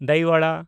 ᱫᱚᱭ ᱣᱟᱲᱟ